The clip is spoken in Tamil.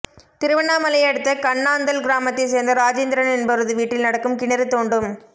திருவண்ணாமலை அடுத்த கண்ணாந்தல் கிராமத்தை சேர்ந்த ராஜேந்திரன் என்பவரது வீட்டில் நடக்கும் கிணறு தோண்டும்